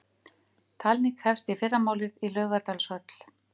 Talning hefst í fyrramálið í Laugardalshöll